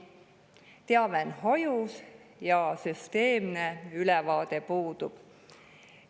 Teave on hajus ja süsteemne ülevaade puudub.